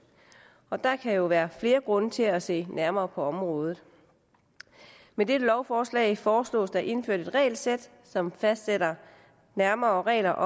og der kan jo være flere grunde til at se nærmere på området med dette lovforslag foreslås der indført et regelsæt som fastsætter nærmere regler